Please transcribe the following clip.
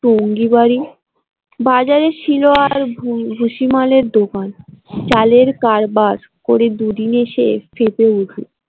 ভঙ্গি বাড়ি বাজারের শিল আল ভুষি মালের দোকান চালের কারবার করে দুদিনে সে ফেঁপে উঠলো।